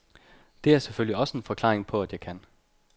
Det er selvfølgelig også en forklaring på, at jeg kan